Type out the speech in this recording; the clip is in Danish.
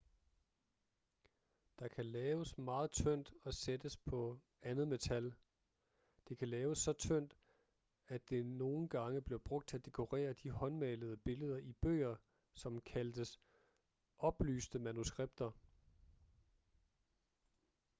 det kan laves meget tyndt og sættes på andet metal det kan laves så tyndt at det nogen gange blev brugt til at dekorere de håndmalede billeder i bøger som kaldtes oplyste manuskripter